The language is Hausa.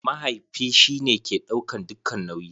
Mahaifi shi ne ke ɗaukan dukka nauyi.